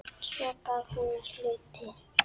Svo gaf hún mér hluti.